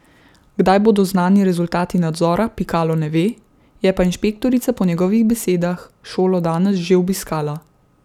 Kdaj bodo znani rezultati nadzora, Pikalo ne ve, je pa inšpektorica po njegovih besedah šolo danes že obiskala.